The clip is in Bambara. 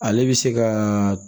Ale bɛ se ka